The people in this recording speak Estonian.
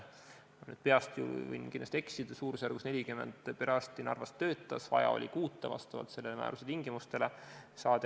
Ma ütlen praegu peast, seega võin eksida, aga suurusjärgus 40 perearsti töötas Narvas, vaja oli kuut vastavalt selle määruse tingimustele.